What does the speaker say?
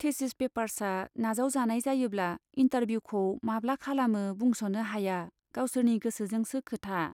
Thesis पेपार्सआ नाजाव जानाय जायोब्ला इन्टारभिउखौ माब्ला खालामो बुंस'नो हाया गावसोरनि गोसोजोंसो खोथा।